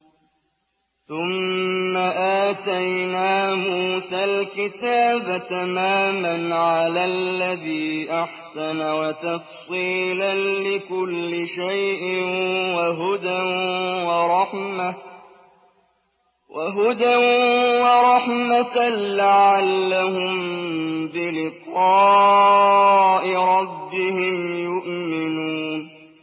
ثُمَّ آتَيْنَا مُوسَى الْكِتَابَ تَمَامًا عَلَى الَّذِي أَحْسَنَ وَتَفْصِيلًا لِّكُلِّ شَيْءٍ وَهُدًى وَرَحْمَةً لَّعَلَّهُم بِلِقَاءِ رَبِّهِمْ يُؤْمِنُونَ